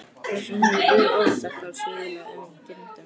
Þess vegna hefur Guð ofurselt þá svívirðilegum girndum.